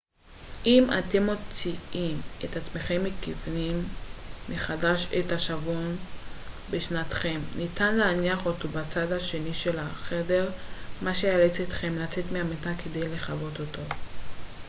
אם אתם מוצאים את עצמכם מכוונים מחדש את השעון בשנתכם ניתן להניח אותו בצד השני של החדר מה שייאלץ אתכם לצאת מהמיטה כדי לכבות אותו